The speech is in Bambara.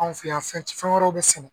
Anw fɛ yan fɛn wɛrɛw bɛ sɛnɛ